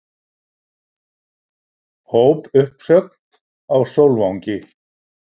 Hópuppsögn á Sólvangi